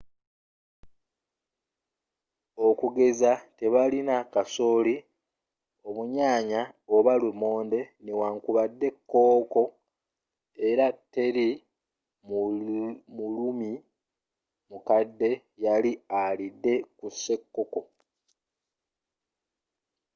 okugeza tebaalina kasooli ob'ennyaanya oba lumonde newankubadde kkooko era teri muruumi mukadde yali alidde ku sekkokkko